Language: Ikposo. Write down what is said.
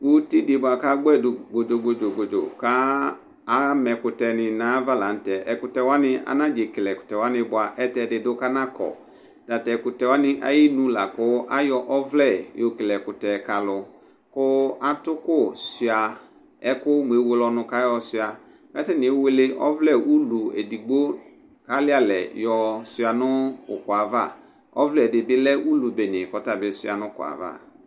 uti di bʋa k'agbɛdu bodzo bodzo ka, kama ɛku ni nayava la nu tɛ, ɛkutɛ wʋani anadze kele ɛkutɛ wʋani bʋa ayɛlutɛ ɛdini du kɔnakɔ, tatɛkutɛ wʋani ayinu la ku ayɔ ɔvlɛ yokele ɛkutɛ kalu, ku atuku sʋia ɛku muewele ɛku yɔ sʋia , katani ewele ɛku ulu edigbo kalialɛ yɔ sʋia nu ukuɛva ɔvlɛ ɛdi bi lɛ ulu ɛlu kɔtabi sʋia n'ukuɛ ava